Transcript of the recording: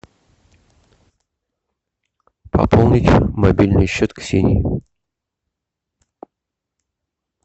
пополнить мобильный счет ксении